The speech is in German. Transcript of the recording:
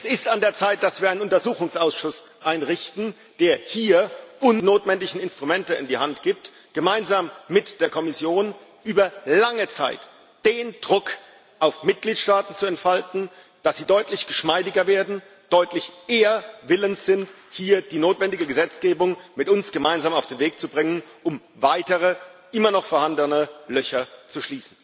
Es ist an der Zeit, dass wir einen Untersuchungsausschuss einrichten, der uns hier die notwendigen Instrumente in die Hand gibt, gemeinsam mit der Kommission über lange Zeit den Druck auf Mitgliedstaaten zu entfalten, dass sie deutlich geschmeidiger werden, deutlich eher willens sind, hier die notwendige Gesetzgebung mit uns gemeinsam auf den Weg zu bringen, um weitere immer noch vorhandene Löcher zu schließen.